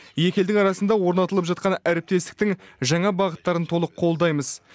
екі елдің арасында орнатылып жатқан әріптестіктің жаңа бағыттарын толық қолдаймыз